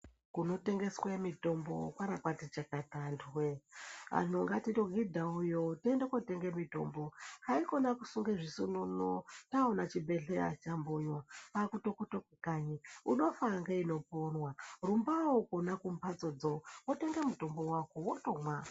Kunotengeswa mutombo kwakabati chakata antu woye vantu ngatitohudhabuyi tiende kundotenga mitombo haikona kusungabzvisununu taona Zvibhedhlera kwkutopututu unofa neinoponabrumbawonkonba kumbatsodzo wotenga mutombo wako wotomwa.